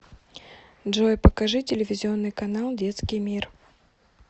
джой покажи телевизионный канал детский мир